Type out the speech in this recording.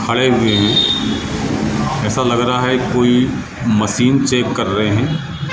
खड़े हुए है। ऐसा लग रहा है कोई मशीन चेक कर रहे हैं।